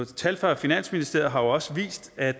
tal fra finansministeriet har jo også vist at